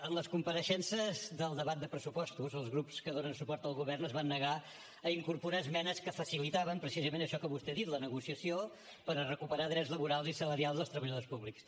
en les compareixences del debat de pressupostos els grups que donen suport al govern es van negar a incorporar esmenes que facilitaven precisament això que vostè ha dit la negociació per a recuperar drets laborals i salarials dels treballadors públics